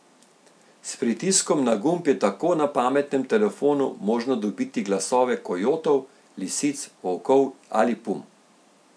S pritiskom na gumb je tako na pametnem telefonu možno dobiti glasove kojotov, lisic, volkov ali pum.